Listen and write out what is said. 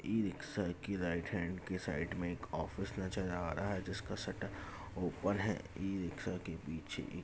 e rickshaw के right hand के side मे एक ऑफिस नजर आ रहा है जिसका शटर ऊपर है ई-रिक्शा के पीछे --